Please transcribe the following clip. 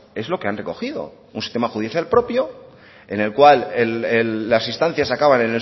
es lo que han recogido un sistema judicial propio en el cual las instancias acaban